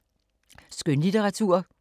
Skønlitteratur